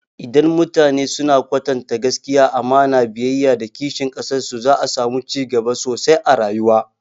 Idan mutane suna kwatanta gaskiya, amana, biyayya, da kishin ƙasar su, za'a samu cigaba sosai a rayuwa.